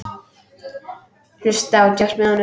Hlusta á djass með honum.